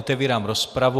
Otevírám rozpravu.